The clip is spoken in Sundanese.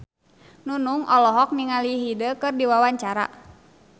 Nunung olohok ningali Hyde keur diwawancara